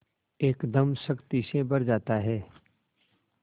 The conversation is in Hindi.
एकदम शक्ति से भर जाता है